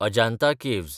Ajanta caves